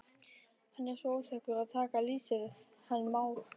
Hann er svo óþekkur að taka lýsið hann Már.